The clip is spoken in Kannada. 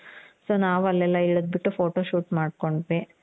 so ನಾವು ಅಲ್ಲೆಲ್ಲ ಇಳಿದು ಬಿಟ್ಟು photo shoot ಮಾಡ್ಕೊಡ್ವಿ.